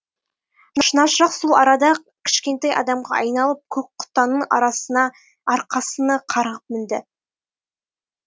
шынашақ сол арада ақ кішкентай адамға айналып көкқұтанның арқасына қарғып мінді